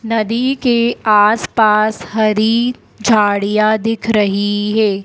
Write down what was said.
नदी के आसपास हरी झाड़ियां दिख रही हैं।